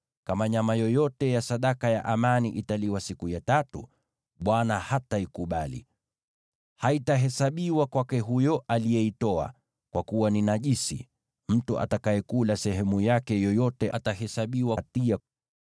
Kama nyama yoyote ya sadaka ya amani italiwa siku ya tatu, Bwana hataikubali. Haitahesabiwa kwake huyo aliyeitoa, kwa kuwa ni najisi. Mtu atakayekula sehemu yake yoyote atahesabiwa hatia.